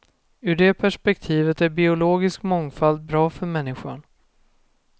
Ur det perspektivet är biologisk mångfald bra för människan.